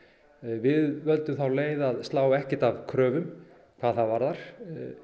við völdum þá leið að slá ekkert af kröfum hvað það varðar